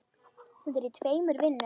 Hún er í tveimur vinnum.